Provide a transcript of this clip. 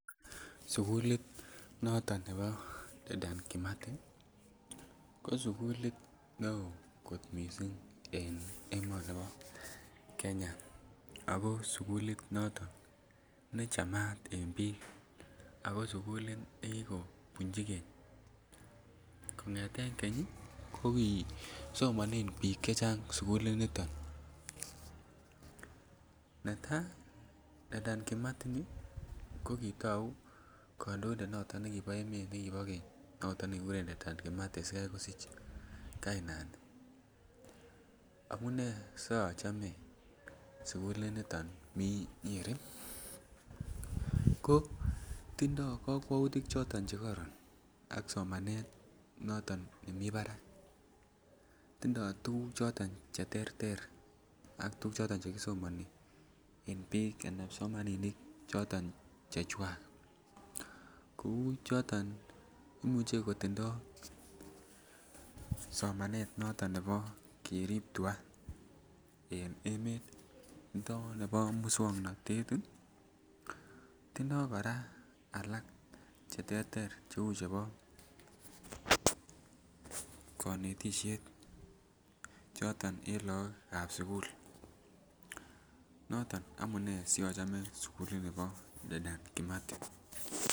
Sukulit noton nebo Dedan kimathi ko sukulit ne oo kot missing en emoni bo Kenya ako sukulit noton ne chamat en biik ako sukulit ne kigobuji keny. Kongeten keny ko kisomonen biik chechang sukuli niton, netaa Dedan kimathi ini ko kitou kondoindet noton nekibo emet nekibo keny noton ne kikiguren Dedan kimathi sikai kosich kainani, amune sochome sukuli niton mii nyeri ii ko tindo kokwoutik choton che koron ak somanet noton nemii barak. Tindo tuguk choton che terter ak tuguk choton che kisomoni en biik ana kipsomaninik choton chechwak kouu choton imuche kotindo somanet noton nebo kerib tua en emet tindo nebo muswognotet ii tindo koraa alak che terter che uu chebo konetisiet choton en lookab sukul, noton amune si achome sukuli niton bo Dedan kimathi